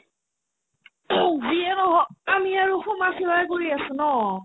যিয়ে নহওক আমি আৰু সমাজসেৱাই কৰি আছো ন